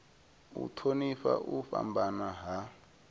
u thonifha u fhambana ha